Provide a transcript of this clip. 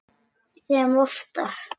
Sem oftar.